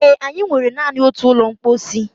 Ee, anyị nwere naanị otu ụlọ mposi